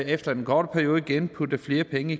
efter den korte periode igen putte flere penge